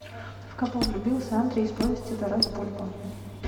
в кого влюбился андрий из повести тарас бульба